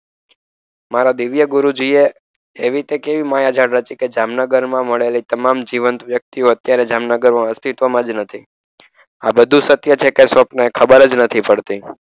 મારે દિવ્ય ગુરુજી એવી તે કેવી માયા ઝાડ રચી કે જામનગરમાં મળેલી તમામ જીવનથી વ્યક્તિઓ અસ્તિત્વમાં જ નથી. આ બધું સત્ય છે કે સ્વપ્ન એ ખબર જ નથી પડતી.